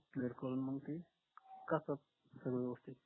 जर मग ते करतात व्यवस्थित